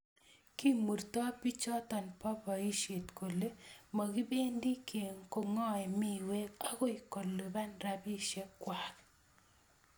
Kimurto bichoto bo boisie kole mokebendii kong'oe miwee okoi keluban robishe kwaak.